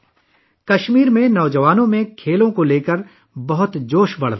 کشمیر میں نوجوانوں میں کھیلوں کے حوالے سے کافی جوش و خروش پایا جاتا ہے